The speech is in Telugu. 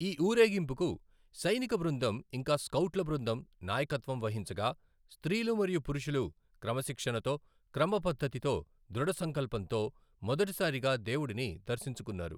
ఈ ఊరేగింపుకు సైనిక బృందం ఇంకా స్కౌట్ల బృందం నాయకత్వం వహించగా, స్త్రీలు మరియు పురుషులు క్రమశిక్షణతో, క్రమపద్ధతితో, దృఢ సంకల్పంతో మొదటిసారిగా దేవుడిని దర్శించుకున్నారు.